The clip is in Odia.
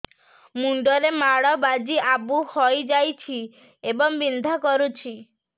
ମୁଣ୍ଡ ରେ ମାଡ ବାଜି ଆବୁ ହଇଯାଇଛି ଏବଂ ବିନ୍ଧା କରୁଛି